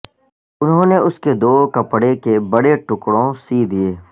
انہوں نے اس کے دو کپڑے کے بڑے ٹکڑوں سی دئیے